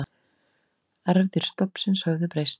Erfðir stofnsins höfðu breyst.